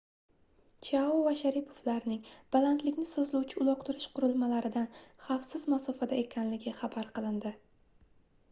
chiao va sharipovlarning balandlikni sozlovchi uloqtirish qurilmalaridan xavfsiz masofada ekanligi xabar qilindi